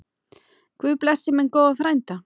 Guð blessi minn góða frænda.